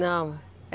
Não.